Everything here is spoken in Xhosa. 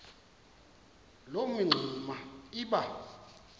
loo mingxuma iba